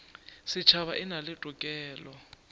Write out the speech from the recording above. setšhaba e na le tokelo